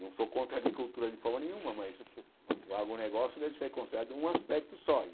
Não sou contra a agricultura de forma nenhuma, mas o agronegócio deve ser considerado um aspecto só.